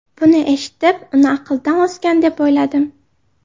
Buni eshitib, uni aqldan ozgan, deb o‘yladim.